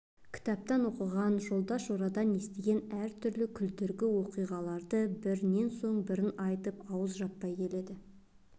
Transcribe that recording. кітаптан оқыған жолдас-жорадан естіген әртүрлі күлдіргі оқиғаларды бірінен соң бірін айтып ауыз жаппай келеді